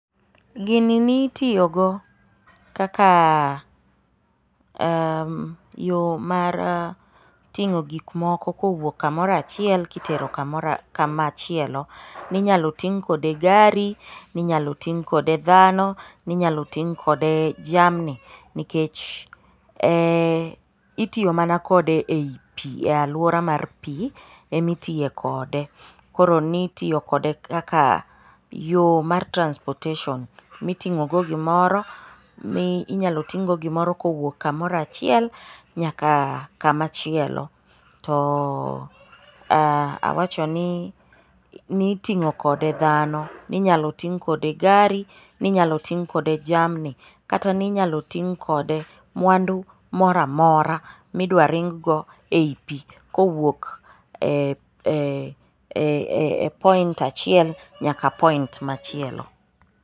Gini nitiyogo kaka ,yoo mar ting'o gik moko kowuok kumoro achiel kitero kamachielo. Ninyalo ting' kode gari, ninyalo ting' kode dhano, ninyalo ting' kode jamni nikech itiyo mana kode e i pii, e alwora mar pii ema itiye kode. Koro nitiyo kode kaka yoo mar transportation miting'ogo gimoro, minyalo ting'go gimoro kowuok kamoro achiel nyaka kamachielo . To awachoni, niting'o kode dhano, ninyalo ting' kode gari, ninyalo ting' kode jamni kata ninyalo ting' kode mwandu moro amora midwa ringgo ei pii kowuok e point achiel nyaka point machielo.